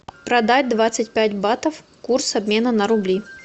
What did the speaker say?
продать двадцать пять батов курс обмена на рубли